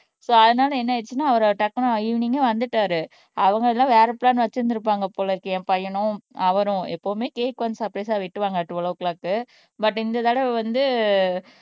so அதனால என்ன ஆயிடுச்சுன்னா அவரு டக்குனு ஈவினிங்கே வந்துட்டாரு அவங்க எல்லாம் வேற பிளான் வச்சிருந்திருப்பாங்க போல இருக்கு என் பையனும் அவரும் எப்பவுமே கேக் கொஞ்சம் சர்ப்ரைஸா வெட்டுவாங்க டுவேல் ஓ கிளாக் பட் இந்த தடவை வந்து